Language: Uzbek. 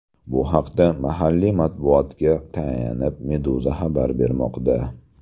Bu haqda, mahalliy matbuotga tayanib, Meduza xabar bermoqda .